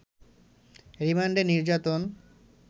রিমান্ডে নির্যাতন